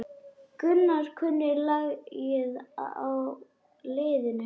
Gunnar kunni lagið á liðinu.